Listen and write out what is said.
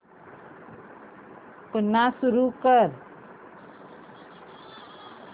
पुन्हा सुरू कर